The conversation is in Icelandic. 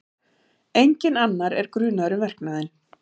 Enginn annar er grunaður um verknaðinn